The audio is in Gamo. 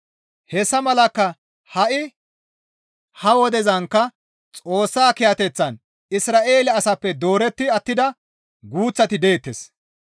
Hessa malakka ha7i ha wodezankka Xoossa kiyateththan Isra7eele asaappe dooretti attida guuththati deettes.